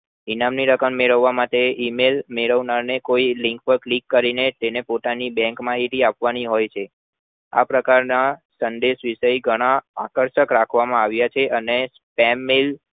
ઇનામ ની રકમ મેલાવવા માટે email મેળવનાર ને કોઈ link પર click કરીને તેને પોતાની bank માહિતી આપવાની હોય છે આ પ્રકાર ના સંદેશ વિષય ઘણા આકર્ષક ક્રખવામાં આવ્યા છે અને stamp Mail